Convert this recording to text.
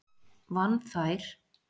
Vann þær